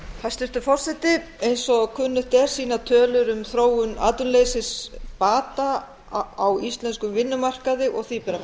hæstvirtur forseti eins og kunnugt er sýna tölur um þróun atvinnuleysis bata á íslenskum vinnumarkaði og því ber að fagna